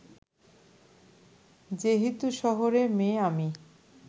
যেহেতু শহরের মেয়ে আমি